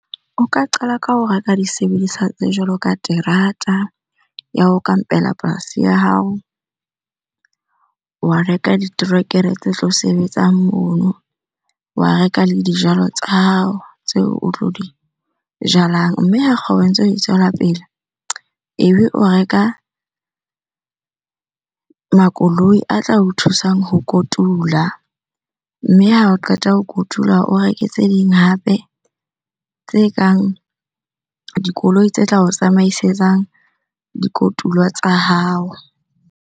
O ka qala ka ho reka disebediswa tse jwalo ka terata ya ho kampela polasi ya hao. Waa reka diterekere tse tlo sebetsang mono, wa reka le dijalo tsa hao tseo o tlo di jalang. Mme ha kgoho e ntse e tswela pele, ebe o reka makoloi a tla o thusang ho kotula. Mme ha o qeta ho kotula, o reke tse ding hape tse kang dikoloi tse tla o tsamaisetsang di kotulwa tsa hao.